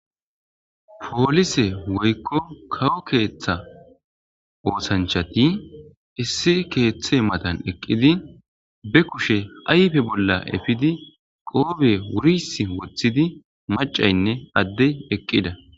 poolise woykko kawo keeththa oosanchati issi keeththe matan eqqidi be kushe ayfe bolla efidi qoobe wuris woththidi macaynne addey eqqida